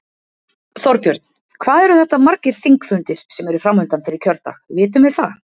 Þorbjörn: Hvað eru þetta margir þingfundir sem eru framundan fyrir kjördag, vitum við það?